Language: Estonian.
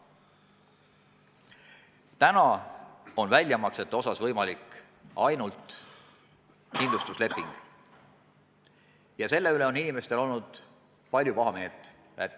Praegu on väljamaksete puhul võimalik ainult kindlustusleping ja selle üle on inimesed väljendanud palju pahameelt.